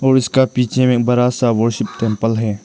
और इसका पीछे में बड़ा सा वरशिप टेंपल है।